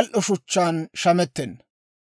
al"o shuchchaan shamettenna.